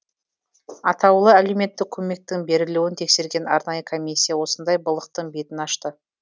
атаулы әлеуметтік көмектің берілуін тексерген арнайы комиссия осындай былықтың бетін ашты